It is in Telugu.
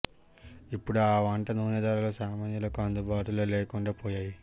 ఇప్పుడా ఆ వంట నూనె ధరలు సామాన్యులకు అందుబాటులో లేకుండా పోయాయి